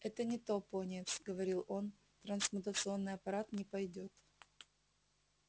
это не то пониетс говорил он трансмутационный аппарат не пойдёт